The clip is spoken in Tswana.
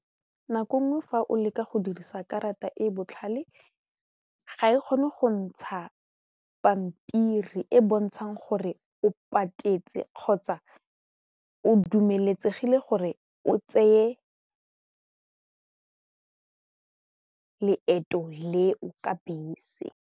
Nako nngwe fa o leka go dirisa karata e e botlhale ga e kgone go ntsha pampiri e e bontshang gore o patetse kgotsa o dumeletsegile gore o tseye leeto leo ka bese.